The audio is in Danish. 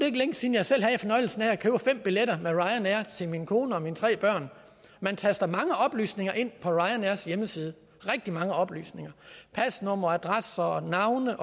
ikke længe siden jeg selv havde fornøjelsen af at købe fem billetter med ryanair til min kone og mine tre børn man taster mange oplysninger ind på ryanairs hjemmeside rigtig mange oplysninger pasnummer adresser og navne